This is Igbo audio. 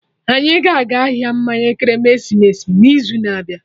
Anyị ga-aga ahịa mmanya ekeresimesi n'izu na-abịa